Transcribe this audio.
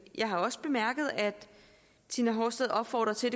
jeg har også bemærket at tina horsted opfordrer til